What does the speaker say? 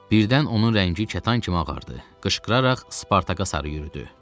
Birdən onun rəngi kətan kimi ağardı, qışqıraraq Spartaka sarı yürüdü.